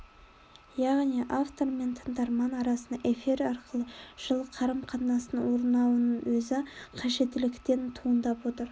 яғни автор мен тыңдарман арасында эфир арқылы жылы қарым-қатынастың орнауының өзі қажеттіліктен туындап отыр